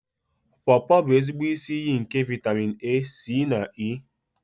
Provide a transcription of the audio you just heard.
Pọọpọ bụ ezigbo isi iyi nke vaịtamịn A, C na E.